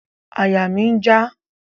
Àyà mi n já